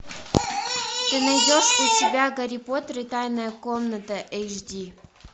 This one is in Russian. ты найдешь у себя гарри поттер и тайная комната эйч ди